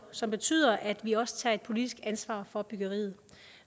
som betyder at vi også tager et politisk ansvar for byggeriet